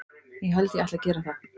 Ég held ég ætli að gera það.